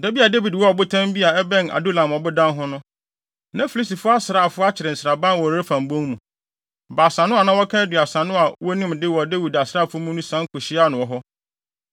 Da bi a Dawid wɔ ɔbotan bi a ɛbɛn Adulam ɔbodan ho no, na Filistifo asraafo akyere nsraban wɔ Refaim bon mu. Baasa no a na wɔka Aduasa no a wonim de wɔ Dawid asraafo mu no sian kohyiaa no wɔ hɔ.